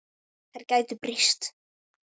Þær gætu breyst.